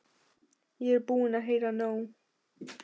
Ég er búin að heyra nóg!